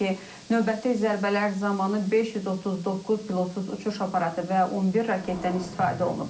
Belə ki, növbəti zərbələr zamanı 539 pilotsuz uçuş aparatı və 11 raketdən istifadə olunub.